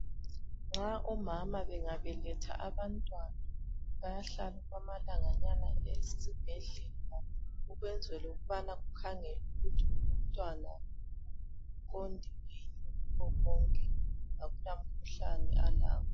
Nxa omama bengabeletha abantwana bayahlala okwamalanganyana esibhedlela ukwenzela ukuba bakhangele ukuthi umntwana uphilile yini akula mkhuhlane alawo.